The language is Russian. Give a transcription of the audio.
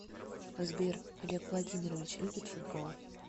сбер олег владимирович любит футбол